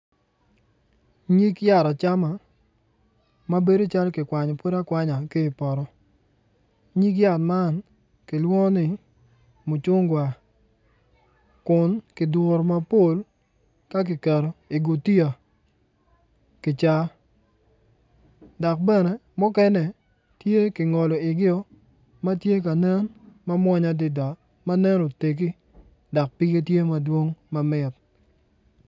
Nyig yat acma ma bedo calo ki kwanyo pud akwanya ki ipoto nyig yat man kilwongo ni mucungwa Kun ki duru mapol ka ki keto I kutiya ki CA dok bene mukene tye ki ngolo igio ma ti ka nen ma munya adida ma nen otegi dok pige tye madwong mamit